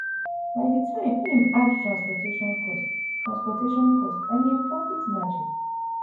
by di time im add transportation cost transportation cost and im profit margin